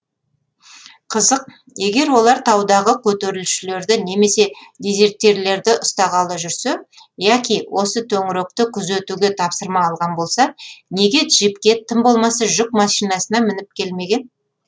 қызық егер олар таудағы көтерілісшілерді немесе дезертирлерді ұстағалы жүрсе яки осы төңіректі күзетуге тапсырма алған болса неге джипке тым болмаса жүк машинасына мініп келмеген